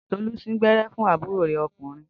Tolú sín gbẹ́rẹ́ fún àbúrò rẹ̀ ọkùnrin